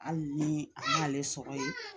Hali ni a le sɔgɔ ye